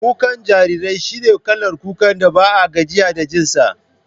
Kukan jarirai shi ne kalar kukan da ba a gajiya da jin sa